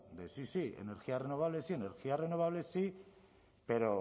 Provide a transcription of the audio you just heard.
de sí sí energías renovables sí energías renovables sí pero